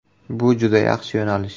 Bu juda yaxshi yo‘nalish.